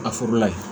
A forola ye